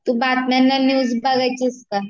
तू बातम्यावर न्यूज बघायचिस का